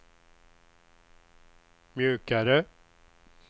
mjukare